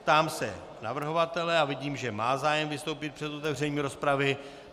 Ptám se navrhovatele a vidím, že má zájem vystoupit před otevřením rozpravy.